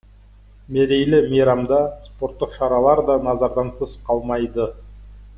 мерейлі мейрамда спорттық шаралар да назардан тыс қалмайды